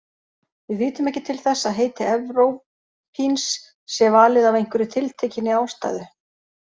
Við vitum ekki til þess að heiti evrópíns sé valið af einhverri tiltekinni ástæðu.